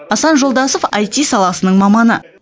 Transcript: асан жолдасов аити саласының маманы